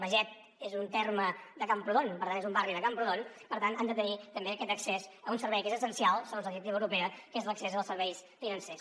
beget és un terme de camprodon per tant és un barri de camprodon per tant han de tenir també aquest accés a un servei que és essencial segons la directiva europea que és l’accés als serveis financers